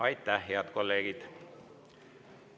Aitäh, head kolleegid!